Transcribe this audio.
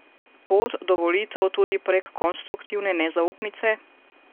Pot do volitev tudi prek konstruktivne nezaupnice?